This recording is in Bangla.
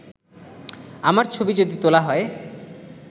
“আমার ছবি যদি তোলা হয়